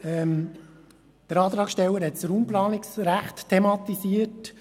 Der Antragssteller hat das Raumplanungsrecht thematisiert.